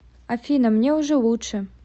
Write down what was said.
афина мне уже лучше